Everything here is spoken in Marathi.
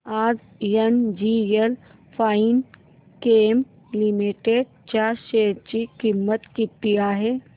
आज एनजीएल फाइनकेम लिमिटेड च्या शेअर ची किंमत किती आहे